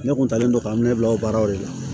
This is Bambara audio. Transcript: Ne kun taalen don ka ne bila o baaraw de la